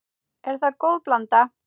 Er það góð blanda.